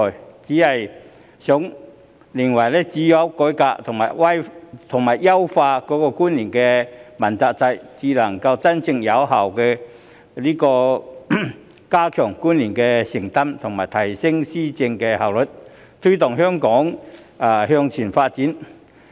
我只是認為只有改革和優化主要官員問責制，才能真正有效地加強官員的承擔及提升施政效率，推動香港向前發展。